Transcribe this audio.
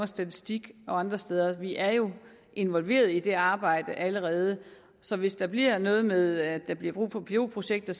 statistik og andre steder vi er jo involveret i det arbejde allerede så hvis der bliver noget med at der bliver brug for pilotprojekter